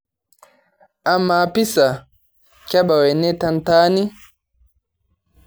amaa piza kebau ene tentaani